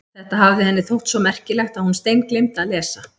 Þetta hafði henni þótt svo merkilegt að hún steingleymdi að lesa.